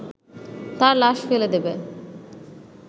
তার লাশ ফেলে দেবে